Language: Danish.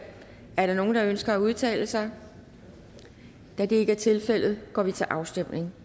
er der nogen der ønsker at udtale sig da det ikke er tilfældet går vi til afstemning